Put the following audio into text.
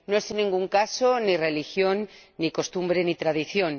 No es, en ningún caso, ni religión ni costumbre ni tradición.